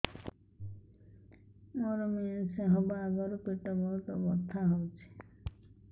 ମୋର ମେନ୍ସେସ ହବା ଆଗରୁ ପେଟ ବହୁତ ବଥା ହଉଚି